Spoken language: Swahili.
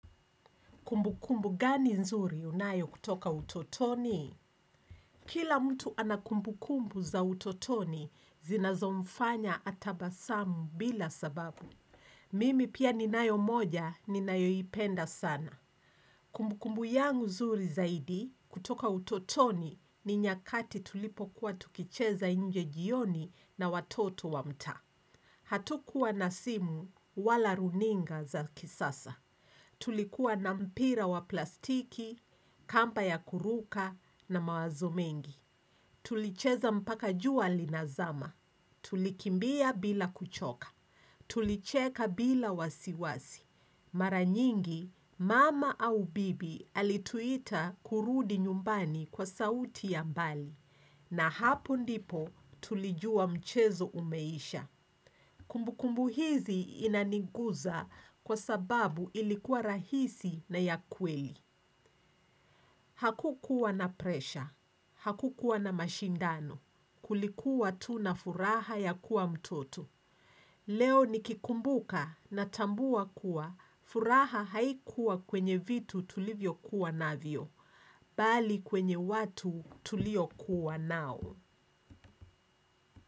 Kumbukumbu gani nzuri unayo kutoka utotoni? Kila mtu ana kumbukumbu za utotoni zinazomfanya atabasamu bila sababu. Mimi pia ninayo moja ninayoipenda sana. Kumbukumbu yangu zuri zaidi kutoka utotoni ni nyakati tulipo kuwa tukicheza nje jioni na watoto wa mtaa. Hatukuwa na simu wala runinga za kisasa. Tulikuwa na mpira wa plastiki, kamba ya kuruka na mawazo mengi. Tulicheza mpaka jua linazama. Tulikimbia bila kuchoka. Tulicheka bila wasiwasi. Mara nyingi, mama au bibi alituita kurudi nyumbani kwa sauti ya mbali. Na hapo ndipo tulijua mchezo umeisha. Kumbu kumbu hizi inaniguza kwa sababu ilikuwa rahisi na ya kweli. Hakukuwa na presha. Hakukuwa na mashindano. Kulikuwa tu na furaha ya kuwa mtoto. Leo nikikumbuka natambua kuwa furaha haikuwa kwenye vitu tulivyo kuwa navyo. Bali kwenye watu tulio kuwa nao.